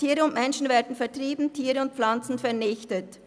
Tiere und Menschen werden vertrieben, Tiere und Pflanzen vernichtet.